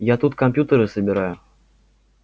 я тут компьютеры собираю